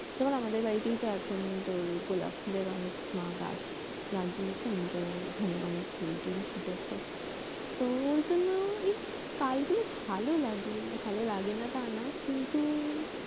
যেমন আমাদের বাড়িতেই তো এখন তোর গোলাপ ফুল এর অনেক মা গাছ লাগিয়েছেন তো ওখানে অনেক ফুল টুল ফুটেছে তো ওর জন্য এই কালগুলো ভাল লাগে ভাল লাগে না তা না কিন্তু